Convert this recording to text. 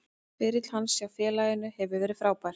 Ferill hans hjá félaginu hefur verið frábær.